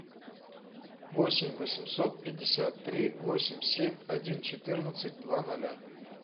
восемь восемьсот пятьдесят три восемь семь один четырнадцать два ноля